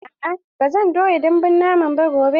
A'a, ba zan toya dambun naman ba gobe.